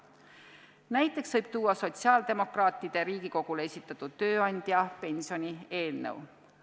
Näiteks võib tuua sotsiaaldemokraatide Riigikogule esitatud tööandjapensioni eelnõu.